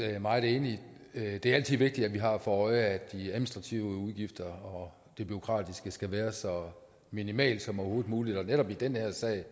meget enig det er altid vigtigt at vi har for øje at de administrative udgifter og bureaukratiet skal være så minimalt som overhovedet muligt netop i den her sag